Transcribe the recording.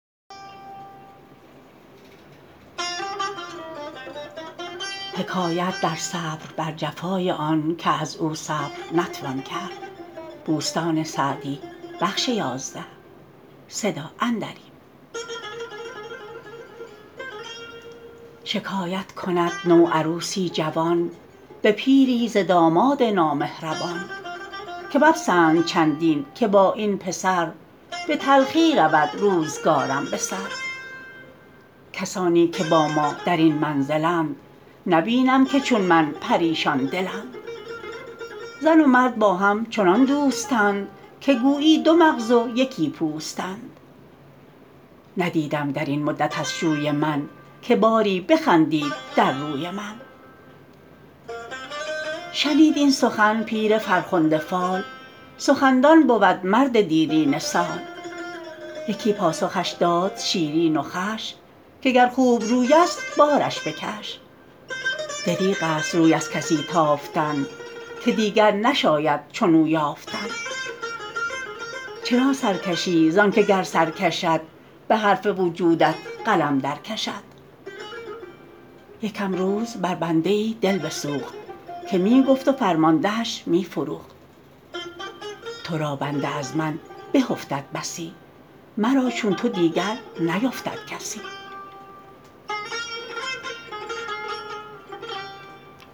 شکایت کند نوعروسی جوان به پیری ز داماد نامهربان که مپسند چندین که با این پسر به تلخی رود روزگارم به سر کسانی که با ما در این منزلند نبینم که چون من پریشان دلند زن و مرد با هم چنان دوستند که گویی دو مغز و یکی پوستند ندیدم در این مدت از شوی من که باری بخندید در روی من شنید این سخن پیر فرخنده فال سخندان بود مرد دیرینه سال یکی پاسخش داد شیرین و خوش که گر خوبروی است بارش بکش دریغ است روی از کسی تافتن که دیگر نشاید چنو یافتن چرا سر کشی زان که گر سر کشد به حرف وجودت قلم در کشد یکم روز بر بنده ای دل بسوخت که می گفت و فرماندهش می فروخت تو را بنده از من به افتد بسی مرا چون تو دیگر نیفتد کسی